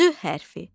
C hərfi.